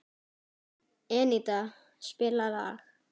Eníta, spilaðu lag.